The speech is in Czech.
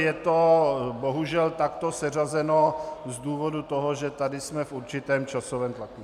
Je to bohužel takto seřazeno z důvodu toho, že tady jsme v určitém časovém tlaku.